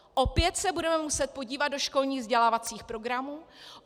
Opět se budeme muset podívat do školních vzdělávacích programů.